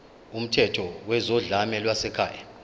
kumthetho wezodlame lwasekhaya